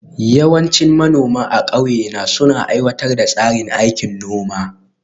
Yawancin manoma a ƙauye na suna aiwatar da tsarin aikin noma